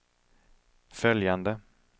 följande